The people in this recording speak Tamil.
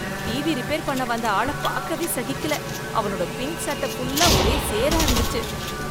டிவி ரிப்பேர் பண்ண வந்த ஆள பாக்கவே சகிக்கல, அவனோட பிங்க் சட்ட ஃபுல்லா ஒரே சேரா இருந்துச்சு.